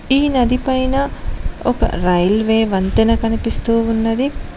ఈ నది పైన ఒక రైల్వే వంతెన కనిపిస్తూ ఉన్నది.